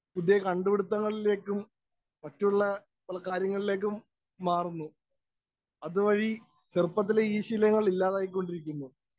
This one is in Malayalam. സ്പീക്കർ 1 പുതിയ കണ്ടുപിടിത്തങ്ങളിലേക്കും, മറ്റുള്ള പല കാര്യങ്ങളിലേക്കും മാറുന്നു. അത് വഴി ചെറുപ്പത്തിലെ ഈ ശീലങ്ങള്‍ ഇല്ലാതായിക്കൊണ്ടിരിക്കുന്നു.